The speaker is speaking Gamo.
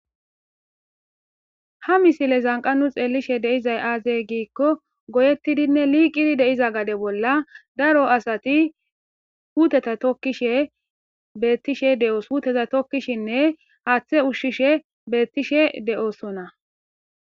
Ha misile zanqanu xeelishe deizay aazey giikko goyettidinne liiqidi deiza gade bolla daro asati huuteta tokkishe beettishe de'o huuteta tokkishinne haaththe ushshishe beettishe de'osona.